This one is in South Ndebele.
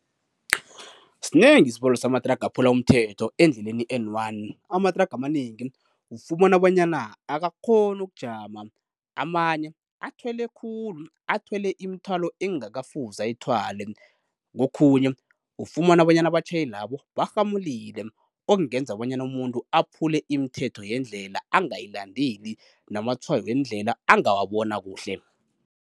Sinengi isibalo samathraga aphula umthetho endleleni i-N one. Amathraga amanengi ufumana bonyana akakghoni ukujama amanye athwele khulu, athwele imithwalo ekungakafuze ayithwale. Kokhunye ufumana bonyana abatjhayelabo barhamulile okungenza bonyana umuntu aphule imithetho yendlela, angayilandeli namatshwayo wendlela angawabona kuhle.